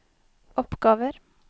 oppgaver